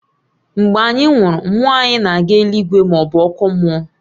Mgbe anyị nwụrụ, mmụọ anyị na-aga eluigwe maọbụ ọkụ mmụọ